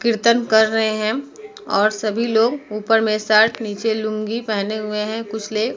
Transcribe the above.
कीर्तन कर रहे है और सभी लोग ऊपर में शर्ट नीचे में लुंगी पहने हुए हैं कुछ ले --